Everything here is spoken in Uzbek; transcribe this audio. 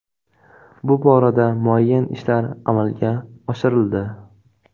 Bu borada muayyan ishlar amalga oshirildi.